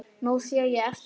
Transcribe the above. Nú sé ég eftir því.